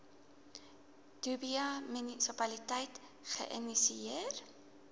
dubai munisipaliteit geïnisieer